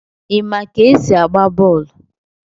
Ima ka esi agba bọọlụ?